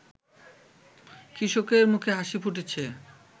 কৃষকের মুখে হাসি ফুটেছে